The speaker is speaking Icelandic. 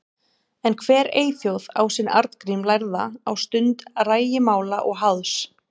En hver eyþjóð á sinn Arngrím lærða á stund rægimála og háðs.